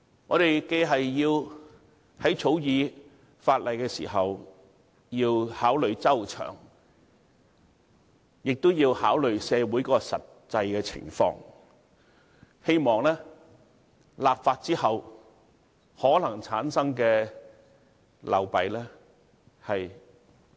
"我們在草擬法例的時候，既要考慮周詳，亦要考慮社會實際情況，希望盡量減少立法後可能產生的流弊。